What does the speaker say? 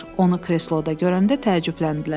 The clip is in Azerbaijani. Onu kresloda görəndə təəccübləndilər.